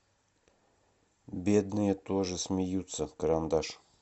бедные тоже смеются карандаш